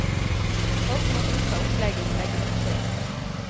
Folk må godta opplegget vi legger opp til.